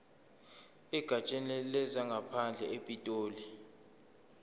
egatsheni lezangaphandle epitoli